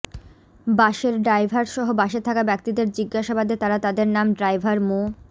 বাস এর ড্রাইভারসহ বাসে থাকা ব্যক্তিদের জিজ্ঞাসাবাদে তারা তাদের নাম ড্রাইভার মো